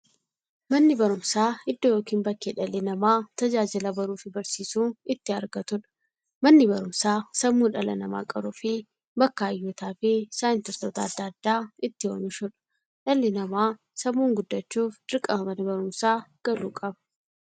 Manni baruumsaa iddoo yookiin bakkee dhalli namaa tajaajila baruufi barsiisuu itti argatuudha. Manni baruumsaa sammuu dhala namaa qaruufi bakka hayyootafi saayintistoota adda addaa itti oomishuudha. Dhalli namaa sammuun guddachuuf, dirqama Mana baruumsaa galuu qaba.